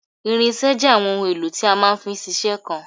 irinṣẹ́ jẹ́ àwọn ohun èlò tí a máa fi ń ṣiṣẹ́ kan